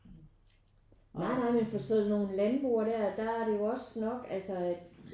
Nej nej men for sådan nogen landboer der der er det jo også nok altså at